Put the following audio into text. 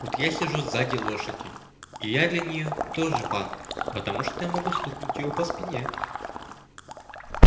вот я сижу сзади лошади и я для неё тоже пан потому что я могу стукнуть её по спине